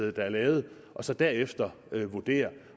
der er lavet og så derefter vurdere